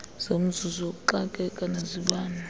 zomzuzu wokuxakeka nezibane